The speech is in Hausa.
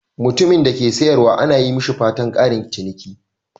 Mutumin da ke sayarwa ana yi mishi fatan "ƙarin ciniki."